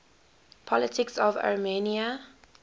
politics of armenia